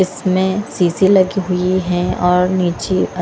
इसमें सीसी लगी हुई है और नीचे आ--